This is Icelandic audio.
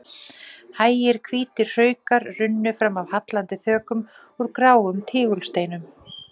Hægir hvítir hraukar runnu fram af hallandi þökum úr gráum tígulsteinum.